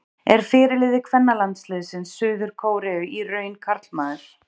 Er fyrirliði kvennalandsliðs Suður-Kóreu í raun karlmaður?